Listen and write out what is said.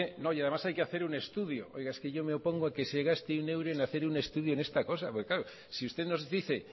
que además hay que hacer un estudio oiga es que yo me opongo a que se gaste un euro en hacer un estudio en esta cosa porque claro si usted nos dice